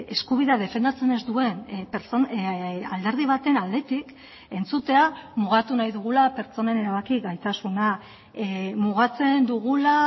eskubidea defendatzen ez duen alderdi baten aldetik entzutea mugatu nahi dugula pertsonen erabaki gaitasuna mugatzen dugula